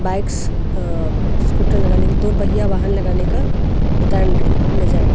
bikes uh scooter लगानेका दो पहिया वाहन लगानेका स्टेण्ड नजर आ --